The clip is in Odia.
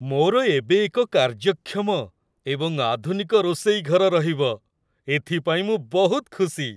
ମୋର ଏବେ ଏକ କାର୍ଯ୍ୟକ୍ଷମ ଏବଂ ଆଧୁନିକ ରୋଷେଇ ଘର ରହିବ, ଏଥିପାଇଁ ମୁଁ ବହୁତ ଖୁସି।